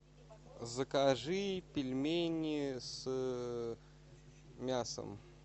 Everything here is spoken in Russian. закажи пельмени с мясом